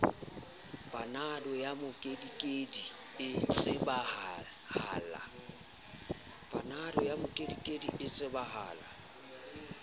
panado ya mokedikedi e tsebahala